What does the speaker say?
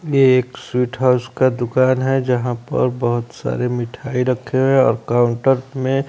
ये एक sweet house का दुकान है जहां पर बहुत सारे मिठाई रखे हैं और काउंटर में--